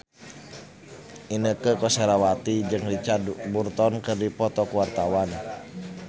Inneke Koesherawati jeung Richard Burton keur dipoto ku wartawan